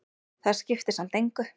Það skiptir samt engu,